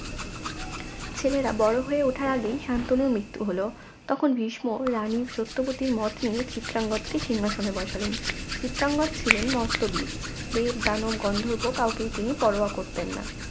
ছেলেরা বড় হয়ে ওঠার আগেই শান্তনুর মৃত্যু হল তখন ভীষ্ম রানী সত্যবতীর মত নিয়ে চিত্রাঙ্গদ কে সিংহাসনে বসালেন চিত্রাঙ্গদ ছিলেন মস্ত বীর দেব দানব গন্ধর্ব কাউকেই তিনি পরোয়া করতেন না